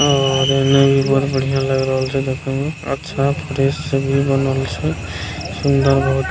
और इन्हे भी बहुत बढ़ियाँ लाएग रहल छै देखे में अच्छा फ्रेश से भी बनल छै सुन्दर बहुत --